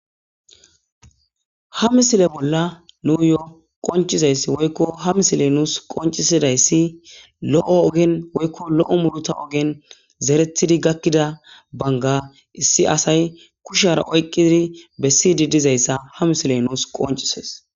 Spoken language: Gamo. Ha misile bolla nuuyoo qoncizayss woykko ha misiley nuus qoncisidayssi lo'o ogen woykko lo'o muluta ogen zeretidi gakkida banga issi asay kushara oyqqizidi bessidi dizayssa ha misiley nuus qoncises.